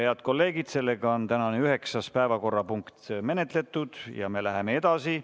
Head kolleegid, sellega on tänane üheksas päevakorrapunkt menetletud ja me läheme edasi.